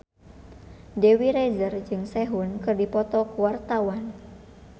Dewi Rezer jeung Sehun keur dipoto ku wartawan